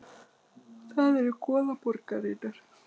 Það eru goðaborgirnar.